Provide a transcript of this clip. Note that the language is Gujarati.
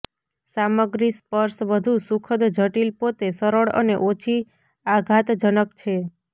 સામગ્રી સ્પર્શ વધુ સુખદ જટિલ પોતે સરળ અને ઓછી આઘાતજનક છે